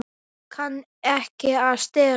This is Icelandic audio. Það kann ekki að stela.